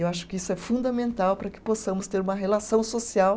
Eu acho que isso é fundamental para que possamos ter uma relação social